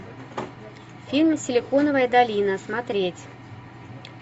фильм силиконовая долина смотреть